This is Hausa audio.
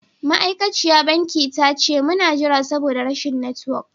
Ma'aikaciya banki ta ce mun na jira saboda rashin network.